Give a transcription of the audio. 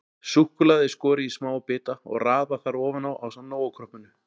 Súkkulaðið er skorið í smáa bita og raðað þar ofan á ásamt Nóa-kroppinu.